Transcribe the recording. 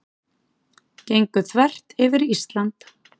Gengu þvert yfir Ísland